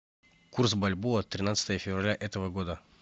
курс бальбоа тринадцатое февраля этого года